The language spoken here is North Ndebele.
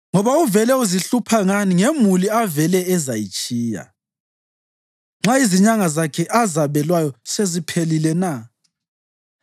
Ngoba uvele uzihlupha ngani ngemuli avele ezayitshiya nxa izinyanga zakhe azabelweyo seziphelile na?